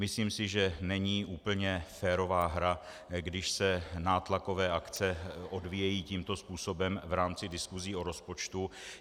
Myslím si, že není úplně férová hra, když se nátlakové akce odvíjejí tímto způsobem v rámci diskusí o rozpočtu.